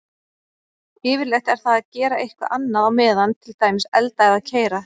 Yfirleitt er það að gera eitthvað annað á meðan, til dæmis elda eða keyra.